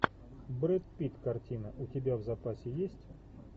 брэд питт картина у тебя в запасе есть